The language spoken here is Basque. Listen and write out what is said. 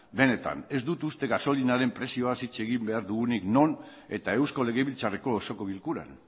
benetan ez dut uste gasolinaren prezioaz hitz egin behar dugunik non eta eusko legebiltzarreko osoko bilkuran